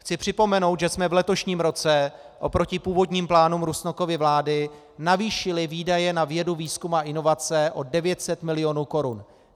Chci připomenout, že jsme v letošním roce oproti původním plánům Rusnokovy vlády navýšili výdaje na vědu, výzkum a inovace o 900 milionů korun.